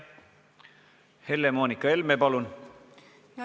Helle-Moonika Helme, palun!